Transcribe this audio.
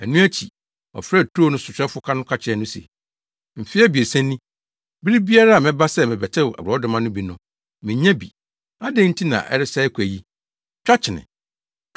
Ɛno akyi, ɔfrɛɛ turo no sohwɛfo no ka kyerɛɛ no se, ‘Mfe abiɛsa ni, bere biara a mɛba sɛ merebɛtew borɔdɔma no bi no, minnya bi. Adɛn nti na ɛresɛe kwa yi? Twa kyene.’